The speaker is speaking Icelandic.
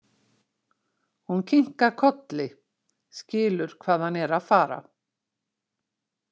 Hún kinkar kolli, skilur hvað hann er að fara.